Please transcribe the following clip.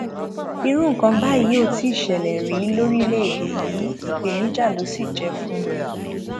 irú nǹkan báyìí ò tí ì ṣẹlẹ rí lórílẹèdè yìí ìpèníjà ló sì jẹ fún mi